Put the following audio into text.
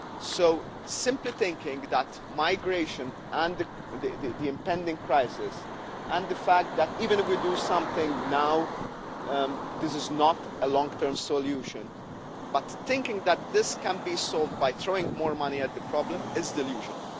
So simply thinking that migration, the impending crisis and the fact that even if we do something now it is not a long-term solution, and thinking that this can be solved by throwing more money at the problem, is delusional.